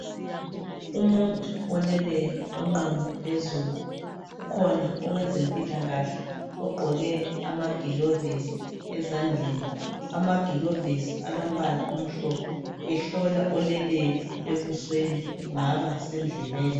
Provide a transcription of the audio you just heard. Umuntu oleleyo onqunu phezulu. Ukhona owezempilakahle ogqoke amagilovisi ezandleni, amagilovisi alombala omhlophe ehlola oleleyo ebusweni kungaba sendlebeni.